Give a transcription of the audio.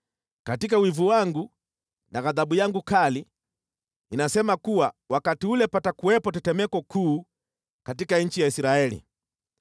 Katika wivu wangu na ghadhabu yangu kali ninasema kuwa wakati ule patakuwepo tetemeko kuu katika nchi ya Israeli.